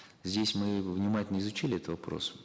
здесь мы внимательно изучили этот вопрос